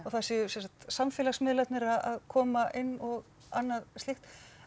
þar séu sem sagt samfélagsmiðlarnir að koma inn og annað slíkt